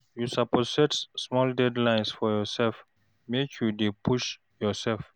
You suppose set small deadline for yoursef, make you dey push yoursef.